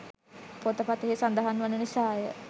පොත පතෙහි සදහන් වන නිසා ය.